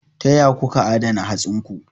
Ta ya kuka adana hatsinku?